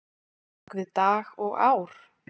bak við dag og ár?